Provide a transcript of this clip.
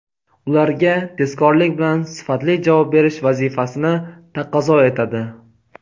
ularga tezkorlik bilan sifatli javob berish vazifasini taqozo etadi.